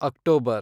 October